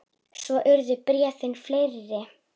Svo urðu bréfin fleiri.